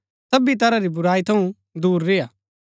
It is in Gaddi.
सबी तरह री बुराई थऊँ दूर रेय्आ